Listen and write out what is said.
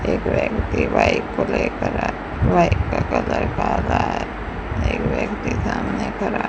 एक व्यक्ति बाइक पकड़े खड़ा है बाइक का कलर काला है एक व्यक्ति सामने खड़ा --